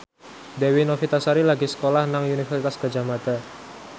Dewi Novitasari lagi sekolah nang Universitas Gadjah Mada